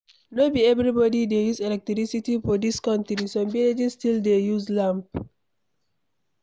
No be everybody dey use electricity for dis country, some villages still dey use lamp.